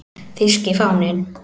Þýski fáninn